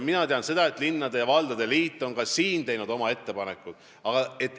Mina tean, et linnade ja valdade liit on siin teinud oma ettepanekud.